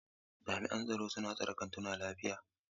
Jami'an tsaro suna tsare kantunan lafiya.